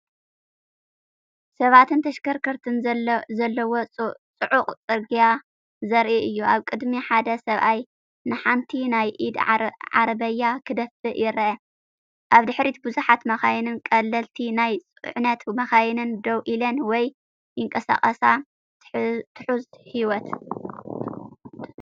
ሰባትን ተሽከርከርትን ዘለዎ ጽዑቕ ጽርግያ ዘርኢ እዩ። ኣብ ቅድሚት ሓደ ሰብኣይ ንሓንቲ ናይ ኢድ ዓረብያ ክደፍእ ይርአ። ኣብ ድሕሪት ብዙሓት መካይንን ቀለልቲ ናይ ጽዕነት መካይንን ደው ኢለን ወይ ይንቀሳቐሳ። ትሑዝ ህይወት!